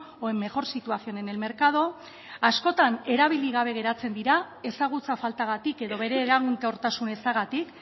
o en mejor situación en el mercado askotan erabili gabe geratzen dira ezagutza faltagatik edo bere eraginkortasun ezagatik